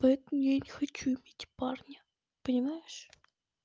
поэтому я не хочу иметь парня понимаешь